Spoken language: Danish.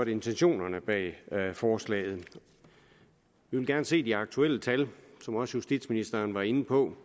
intentionerne bag forslaget vi vil gerne se de aktuelle tal som også justitsministeren var inde på